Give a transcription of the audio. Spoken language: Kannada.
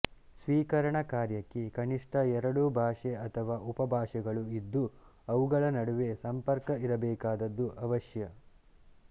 ಸ್ವೀಕರಣ ಕಾರ್ಯಕ್ಕೆ ಕನಿಷ್ಠ ಎರಡು ಭಾಷೆ ಅಥವಾ ಉಪಭಾಷೆಗಳು ಇದ್ದು ಅವುಗಳ ನಡುವೆ ಸಂಪರ್ಕ ಇರಬೇಕಾದದ್ದು ಅವಶ್ಯ